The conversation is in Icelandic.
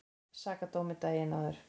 Sakadómi daginn áður.